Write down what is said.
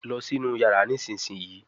lọ sí inú iyàrá nísìsiyìí!